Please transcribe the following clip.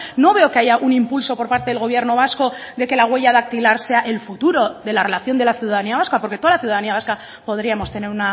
no veo que haya un impulso por parte del gobierno vasco de que la huella dactilar sea el futuro de la relación de la ciudadanía vasca porque toda la ciudadanía vasca podríamos tener